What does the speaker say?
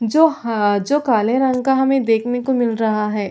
जो हा जो काले रंग का हमें देखने को मिल रहा है।